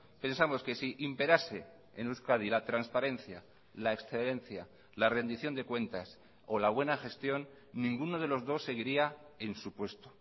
pensamos que si imperase en euskadi la transparencia la excelencia la rendición de cuentas o la buena gestión ninguno de los dos seguiría en su puesto